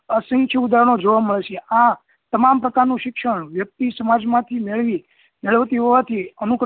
ઉદાહરણો જોવા મળશે આ તમામ પ્રકાર નું શિક્ષણ વ્યક્તિ સમાજ માંથી મેવો મેળવતી હોવાથી અમુક